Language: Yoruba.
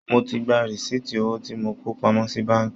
Mo ti gba rìsíìtì owó tí mo kó pamọ́ sí báànkì